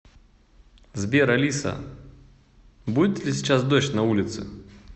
сбер алиса будет ли сейчас дождь на улице